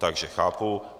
Takže chápu.